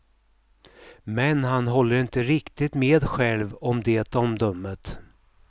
Men han håller inte riktigt med själv om det omdömet.